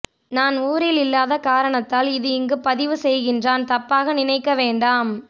நான் ஊரில் இல்லாத காரணத்தால் இது இங்கு பதிவு செய்கின்றான் தப்பாக நினைக்க வேண்டாம்